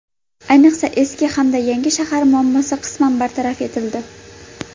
Ayniqsa eski hamda yangi shahar muammosi qisman bartaraf etildi.